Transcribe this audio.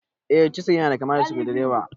Eh, chisil yana kama da sukudireba.